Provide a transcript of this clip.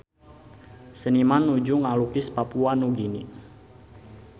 Seniman nuju ngalukis Papua Nugini